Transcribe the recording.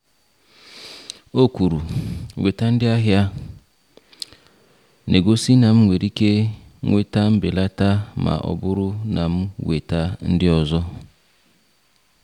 Ọ kwuru, “Weta ndị ahịa,” na-egosi na m nwere ike nweta mbelata ma ọ bụrụ na m weta ndị ọzọ.